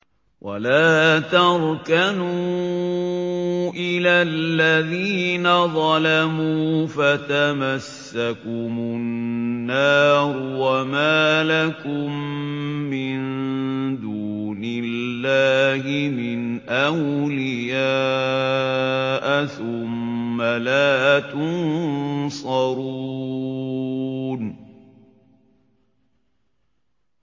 وَلَا تَرْكَنُوا إِلَى الَّذِينَ ظَلَمُوا فَتَمَسَّكُمُ النَّارُ وَمَا لَكُم مِّن دُونِ اللَّهِ مِنْ أَوْلِيَاءَ ثُمَّ لَا تُنصَرُونَ